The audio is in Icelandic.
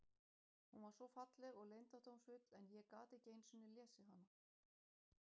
Hún var svo falleg og leyndardómsfull en ég gat ekki einu sinni lesið hana.